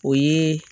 O ye